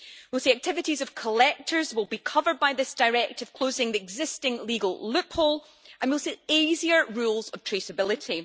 We will see that activities of collectors will be covered by this directive, closing the existing legal loophole, and we will see easier rules of traceability.